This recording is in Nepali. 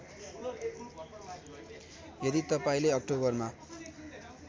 यदि तपाईँंले अक्टोबरमा